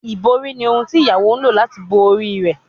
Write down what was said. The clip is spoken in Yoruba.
Ibori ni ohun ti iyawo lo lati bo ori rẹ